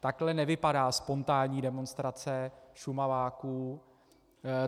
Takhle nevypadá spontánní demonstrace Šumaváků.